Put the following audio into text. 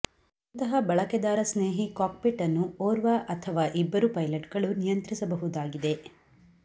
ಇಂತಹ ಬಳಕೆದಾರ ಸ್ನೇಹಿ ಕಾಕ್ಪಿಟ್ ಅನ್ನು ಓರ್ವ ಅಥವಾ ಇಬ್ಬರು ಪೈಲಟ್ಗಳು ನಿಯಂತ್ರಿಸಬಹುದಾಗಿದೆ